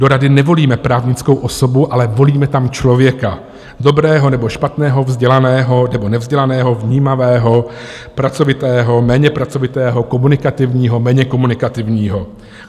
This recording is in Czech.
Do rady nevolíme právnickou osobu, ale volíme tam člověka, dobrého nebo špatného, vzdělaného nebo nevzdělaného, vnímavého, pracovitého, méně pracovitého, komunikativního, méně komunikativního.